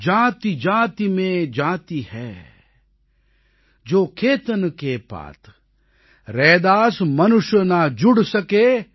ஜாதிஜாதி மேன் ஜாதி ஹை ஜோ கேதன் கே பாத் ரைதாஸ் மனுஷ நா ஜுட் சகே ஜப் தக் ஜாதி ந ஜாத்